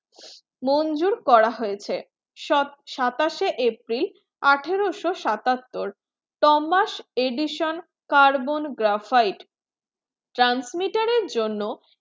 মনজুর করা হয়েছে সাতাশে april আঠারোশো সাতাত্তর tomas edition carbon graphite transmitter জন্য